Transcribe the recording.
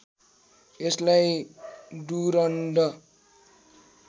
यसलाई डुरन्ड